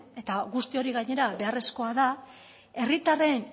eta guzti hori gainera beharrezkoa da herritarren